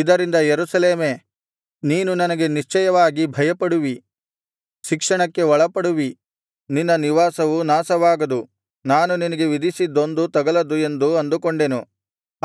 ಇದರಿಂದ ಯೆರೂಸಲೇಮೇ ನೀನು ನನಗೆ ನಿಶ್ಚಯವಾಗಿ ಭಯಪಡುವಿ ಶಿಕ್ಷಣಕ್ಕೆ ಒಳಪಡುವಿ ನಿನ್ನ ನಿವಾಸವು ನಾಶವಾಗದು ನಾನು ನಿನಗೆ ವಿಧಿಸಿದ್ದೊಂದೂ ತಗಲದು ಎಂದು ಅಂದುಕೊಂಡೆನು